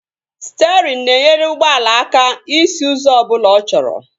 Sterịn na-enyere ụgbọala aka isi ụzọ ọbụla ọ chọrọ